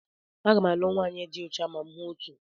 Aga m alụ nwanyị di ocha ma m hụ otu.